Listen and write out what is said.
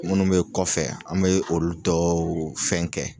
Munnu mɛ kɔfɛ an mɛ olu tɔw fɛn kɛ.